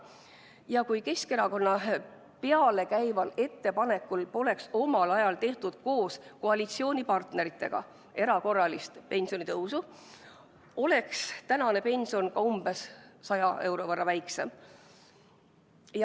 Ja kui Keskerakonna pealekäimisel poleks omal ajal tehtud koos koalitsioonipartneritega erakorralist pensionitõusu, oleks tänane pension veel umbes 100 euro võrra väiksem.